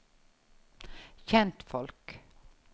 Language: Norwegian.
kjentfolk